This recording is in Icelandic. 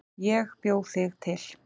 Ég bjó þig til.